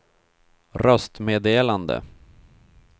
röstmeddelande